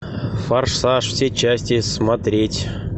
форсаж все части смотреть